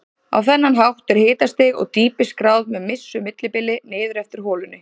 Á þennan hátt er hitastig og dýpi skráð með vissu millibili niður eftir holunni.